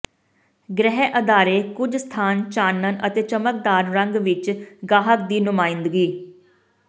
ਗ੍ਰਹਿ ਅਦਾਰੇ ਕੁਝ ਸਥਾਨ ਚਾਨਣ ਅਤੇ ਚਮਕਦਾਰ ਰੰਗ ਵਿੱਚ ਗਾਹਕ ਦੀ ਨੁਮਾਇੰਦਗੀ